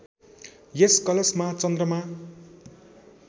यस कलशमा चन्द्रमा